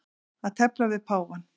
Að tefla við páfann